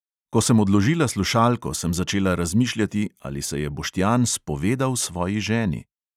Ko sem odložila slušalko, sem začela razmišljati, ali se je boštjan spovedal svoji ženi?